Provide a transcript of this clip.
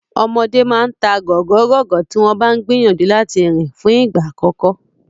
Ọmọdé máa ta gọ̀gọ́gọ̀gọ́ tí wọ́n bá ń gìyànjú láti rìn fún ìgbà àkọ́kọ́.